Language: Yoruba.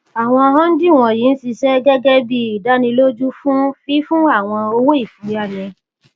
àwọn hundí wọnyí ń ṣiṣẹ gẹgẹ bí ìdánilójú fún fífún àwọn owóìfúnyáni